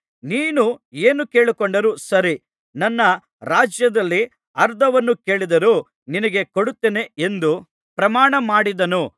ನೀನು ಏನು ಕೇಳಿಕೊಂಡರೂ ಸರಿ ನನ್ನ ರಾಜ್ಯದಲ್ಲಿ ಅರ್ಧವನ್ನು ಕೇಳಿದರೂ ನಿನಗೆ ಕೊಡುತ್ತೇನೆ ಎಂದು ಪ್ರಮಾಣಮಾಡಿದನು